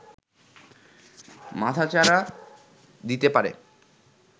মাথাচাড়া দিতে পারে